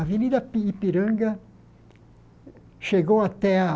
A Avenida pi Ipiranga chegou até a...